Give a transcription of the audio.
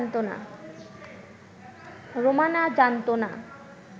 রোমানা জানতো না